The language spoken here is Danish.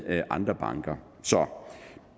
andre banker så